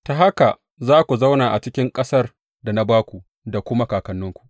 Ta haka za ku zauna a cikin ƙasar da na ba ku da kuma kakanninku.